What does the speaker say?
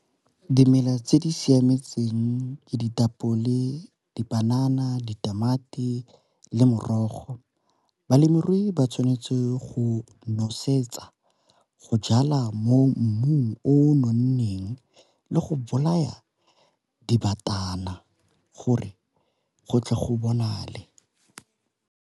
Dimela tse di siametseng ke ditapole, dipanana, ditamati, le morogo. Balemirui ba tshwanetse go nosetsa go jala mo mmung o nonneng le go bolaya dibatana gore go tle go bonale.